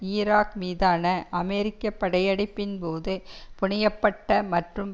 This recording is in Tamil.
ஈராக் மீதான அமெரிக்க படையெடுப்பின்போது புனைய பட்ட மற்றும்